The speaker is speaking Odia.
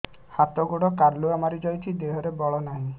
ହାତ ଗୋଡ଼ କାଲୁଆ ମାରି ଯାଉଛି ଦେହରେ ବଳ ନାହିଁ